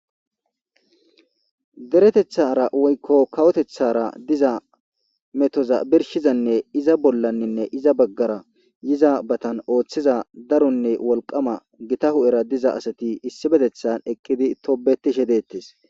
deretethara woykko kawotethara diza metoza birshizanne iza bollanninne iza baggara yiza batan ooththiza daronne wolqama gita hu'era diza asati issibetethan ekkidi tobetishe deettes